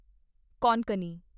Konkani